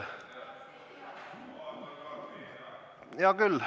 Hea küll.